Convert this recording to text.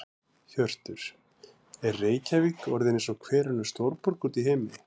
Hjörtur: Er Reykjavík orðin eins og hver önnur stórborg út í heimi?